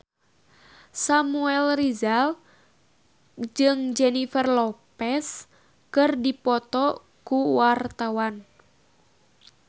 Samuel Rizal jeung Jennifer Lopez keur dipoto ku wartawan